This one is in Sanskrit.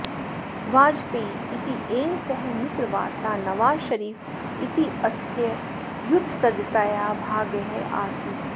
वाजपेयी इत्येन सह मित्रवार्ता नवाज़ शरीफ इत्यस्य युद्धसज्जतायाः भागः आसीत्